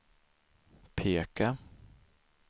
peka